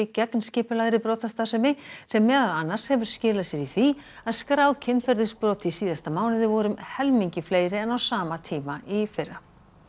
gegn skipulagðri brotastarfsemi sem meðal annars hefur skilað sér í því að skráð kynferðisbrot í síðasta mánuði voru um helmingi fleiri en á sama tíma í fyrra